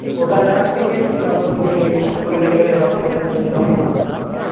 ওটা দেখার থেকে দেখে নেয়াই ভালো।